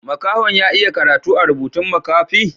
Makaho'n ya iya karatu a'rubutun makafi?